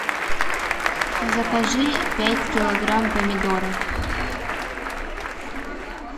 закажи пять килограмм помидоров